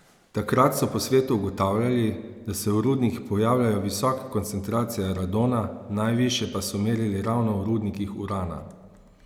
Danes je nosil bel žamet, snežno belo ogrinjalo pa je imel zapeto z levjo broško.